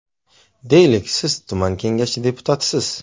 Deylik, siz tuman kengashi deputatisiz.